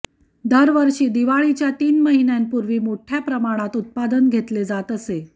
दरवर्षी दिवाळीच्या तीन महिन्यांपूर्वी मोठ्या प्रमाणात उत्पादन घेतले जात असे